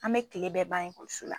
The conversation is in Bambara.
An me kile bɛɛ ban ekɔliso la